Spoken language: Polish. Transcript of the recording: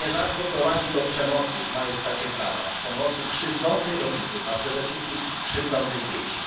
To nierzadko prowadzi do przemocy w majestacie prawa, przemocy krzywdzącej rodziców, a przede wszystkim krzywdzącej dzieci.